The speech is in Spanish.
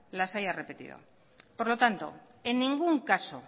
las haya repetido por lo tanto en ningún caso